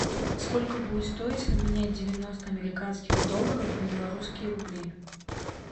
сколько будет стоить поменять девяносто американских долларов на белорусские рубли